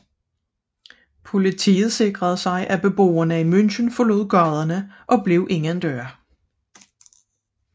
Politiet sikrede at beboerne i München forlod gaderne og blev indendøre